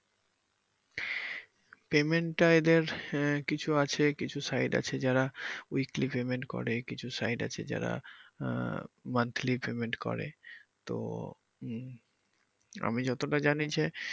payment টা এদের আহ কিছু আছে কিছু site আছে যারা weekly payment করে কিছু site আছে যারা আহ monthly payment করে তো উম আমি যতটা জানি যে